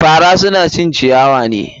Fara suna cin ciyawa ne.